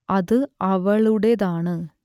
അത് അവളുടേതാണ്